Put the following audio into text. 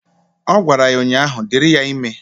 Ọ gwara ya ụnyaahụ " Dịrị ya ime"